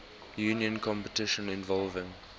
union competition involving